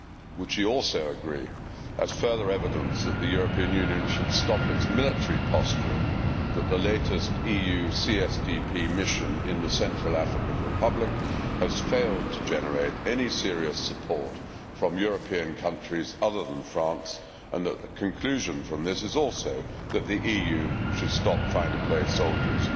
Would she also agree, as further evidence that the European Union should stop its military posturing, that the latest EU CSDP mission in the Central African Republic has failed to generate any serious support from European countries other than France, and that the conclusion from this is also that the EU should stop trying to play soldiers?